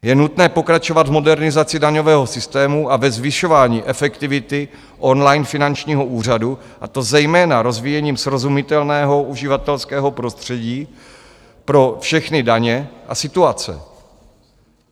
Je nutné pokračovat v modernizaci daňového systému a ve zvyšování efektivity online finančního úřadu, a to zejména rozvíjením srozumitelného uživatelského prostředí pro všechny daně a situace.